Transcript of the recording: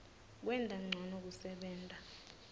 kwenta ncono kusebenta